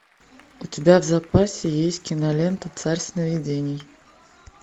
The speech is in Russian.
у тебя в запасе есть кинолента царь сновидений